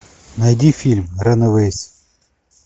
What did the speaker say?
найди фильм ранэвэйс